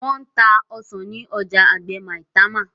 Wón tá ọsán ní ọjà àgbè Maitama